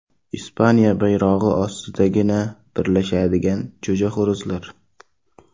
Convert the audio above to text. Ispaniya bayrog‘i ostidagina birlashadigan jo‘jaxo‘rozlar.